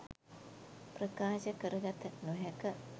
ප්‍රකාශ කර ගත නොහැක.